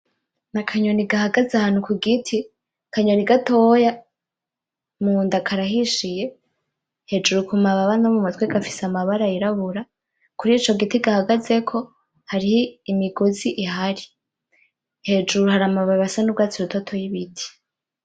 N'akanyoni gahagaze ahantu kugiti, akanyoni gatoya, munda karahishiye, hejuru kumababa no mumutwe gafise amabara yirabura. Kurico giti gahagazeko hariho imigozi ihari. Hejuru hari amababi asa n'urwatsi rutoto y'ibiti.